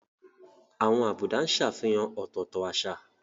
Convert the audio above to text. Àwọn àbùdá ń ṣàfihàn ọ̀tọ̀ọ̀tọ̀ àṣà.